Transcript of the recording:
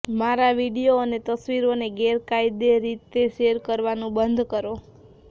મારા વિડીયો અને તસવીરોને ગેરકાયદે રીતે શેર કરવાનું બંધ કરો